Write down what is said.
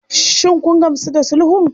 Shin kun gamsu da sulhun?